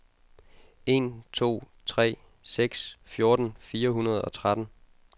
en to tre seks fjorten fire hundrede og tretten